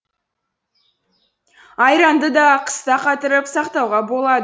айранды да қыста қатырып сақтауға болады